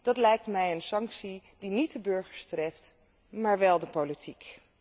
Dat lijkt mij een sanctie die niet de burgers treft, maar wel de politiek.